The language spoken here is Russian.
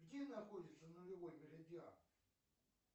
где находится нулевой меридиан